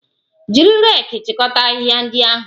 Jiri reeki chịkọta ahịhịa ndị ahụ!